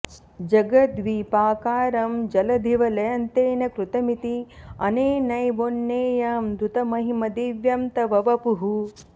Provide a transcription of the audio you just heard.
जगद्द्वीपाकारं जलधिवलयं तेन कृतमिति अनेनैवोन्नेयं धृतमहिम दिव्यं तव वपुः